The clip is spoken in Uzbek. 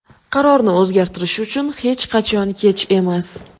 Qarorni o‘zgartirish uchun hech qachon kech emas”.